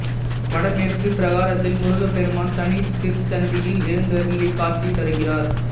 வடமேற்குப் பிராகாரத்தில் முருகப்பெருமான் தனி திருச்சந்நிதியில் எழுந்தருளி காட்சி தருகிறார்